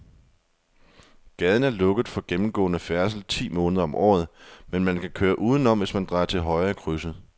Gaden er lukket for gennemgående færdsel ti måneder om året, men man kan køre udenom, hvis man drejer til højre i krydset.